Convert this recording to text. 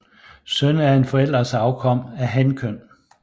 Søn er en forælders afkom af hankøn